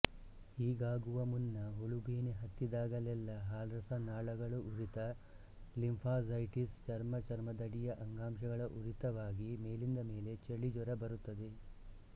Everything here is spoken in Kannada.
ಹೀಗಾಗುವ ಮುನ್ನ ಹುಳುಬೇನೆ ಹತ್ತಿದಾಗಲೆಲ್ಲ ಹಾಲ್ರಸನಾಳಗಳುರಿತ ಲಿಂಫ್ಯಾಂಜೈಟಿಸ್ ಚರ್ಮ ಚರ್ಮದಡಿಯ ಅಂಗಾಂಶಗಳ ಉರಿತವಾಗಿ ಮೇಲಿಂದ ಮೇಲೆ ಚಳಿ ಜ್ವರ ಬರುತ್ತದೆ